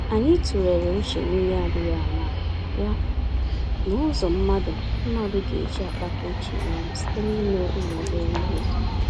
Anyị tụlere uche n'ihe adịghị àmà-àmà, ya na ụzọ mmadụ mmadụ geji akpakọ uche ya ọnụ site n'ime ụmụ-obere-ihe